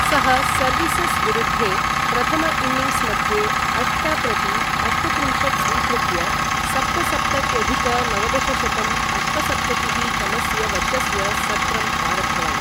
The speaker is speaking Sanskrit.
सः सर्विसस् विरुद्धे प्रथम इन्निन्ग्स् मध्ये अष्ट प्रति अष्टत्रिंशत् स्वीकृत्य सप्तसप्तत्यधिक नवदशशतं अष्टसप्ततिः तमस्य वर्षस्य सत्रम् आरब्धवान्।